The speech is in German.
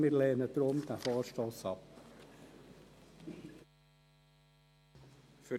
Wir lehnen diesen Vorstoss deshalb ab.